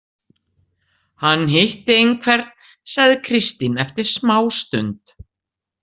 Hann hitti einhvern, sagði Kristín eftir smástund.